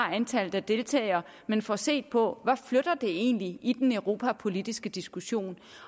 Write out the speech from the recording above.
antallet af deltagere men får set på hvad det egentlig i den europapolitiske diskussion